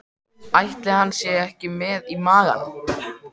Ætli hann sé ekki með í maganum?